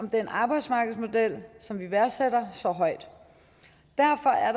den arbejdsmarkedsmodel som vi værdsætter så højt derfor er